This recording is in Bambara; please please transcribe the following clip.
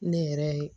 Ne yɛrɛ